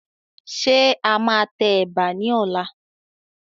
Ṣé a máa tẹ Ẹ̀bà ni ọ̀la?